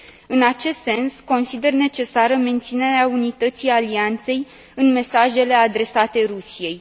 În acest sens, consider necesară menținerea unității Alianței în mesajele adresate Rusiei.